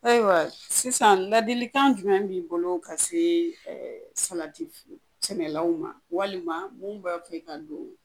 Ayiwa sisan ladilikan jumɛn b'i bolo ka see salati f sɛnɛlaw ma walima mun bɛ fɛ ka don?